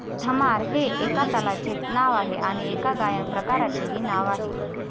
धमार हे एका तालाचे नाव आहे आणि एका गायन प्रकाराचेही नाव आहे.